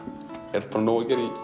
er bara nóg að gera